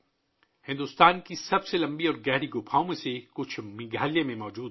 بھارت کی سب سے لمبی اور گہری غاریں میگھالیہ میں موجود ہیں